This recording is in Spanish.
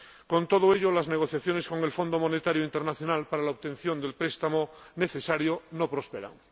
Con todo ello, las negociaciones con el Fondo Monetario Internacional para la obtención del préstamo necesario no prosperan.